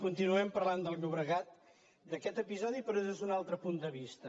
continuem parlant del llobregat d’aquest episodi però des d’un altre punt de vista